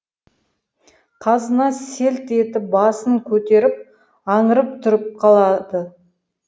қазына селт етіп басын көтеріп аңырып тұрып қалады